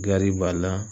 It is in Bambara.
Gari b'a la